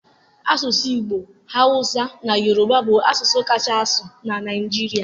Asụsụ Igbo, Hausa na Yoruba bụ asụsụ kacha asụ na Naịjirịa.